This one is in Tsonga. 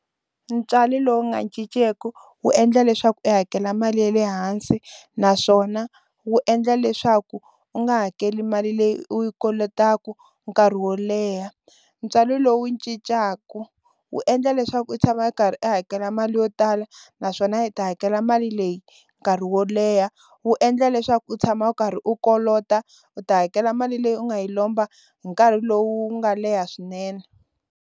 Ntswalo lowu nga cinceku wu endla leswaku i hakela mali ya le hansi naswona wu endla leswaku u nga hakeli mali leyi u yi kolotaku nkarhi wo leha. Ntswalo lowu cincaku wu endla leswaku i tshama i karhi i hakela mali yo tala naswona i ta hakela mali leyi nkarhi wo leha wu endla leswaku u tshama u karhi u kolota u ta hakela mali leyi u nga yi lomba hi nkarhi lowu nga leha swinene.